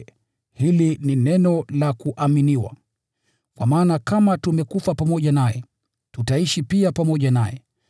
Hili ni neno la kuaminiwa: Kwa maana kama tumekufa pamoja naye, tutaishi pia pamoja naye.